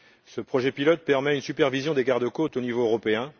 Ce projet pilote permet une supervision des garde côtes au niveau européen.